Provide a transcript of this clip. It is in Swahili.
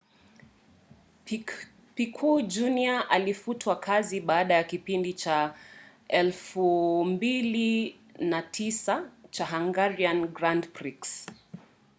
piquet jr. alifutwa kazi baada ya kipindi cha 2009 cha hungarian grand prix